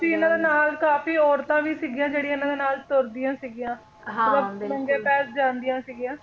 ਸੀ ਕਾਫੀ ਇਹਨਾਂ ਦੇ ਨਾਲ ਕਾਫੀ ਔਰਤਾਂ ਵੀ ਸੀਗੀਆਂ ਜਿਹੜੀਆਂ ਇਹਨਾਂ ਦੇ ਨਾਲ ਤੁਰਦਿਆਂ ਸੀਗੀਆਂ ਨੰਗੇ ਪੈਰ ਜਾਂਦੀਆਂ ਸੀਗੀਆਂ